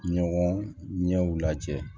Ɲɔgɔn ɲɛw lajɛ